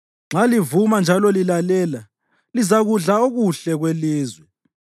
Nxa livuma njalo lilalela, lizakudla okuhle kwelizwe;